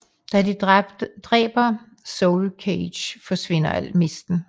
Da de dræber Soulcage forsvinder alt misten